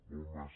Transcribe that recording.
molt més